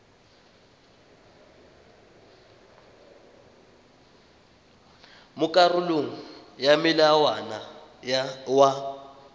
mo karolong ya molawana wa